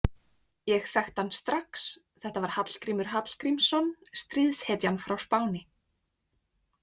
Ég þekkti hann strax, þetta var Hallgrímur Hallgrímsson, stríðshetjan frá Spáni.